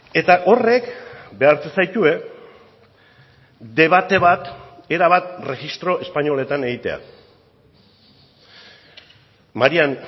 eta horrek behartzen zaitue debate bat erabat erregistro espainoletan egitea marian